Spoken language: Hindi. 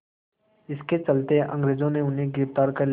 इसके चलते अंग्रेज़ों ने उन्हें गिरफ़्तार कर लिया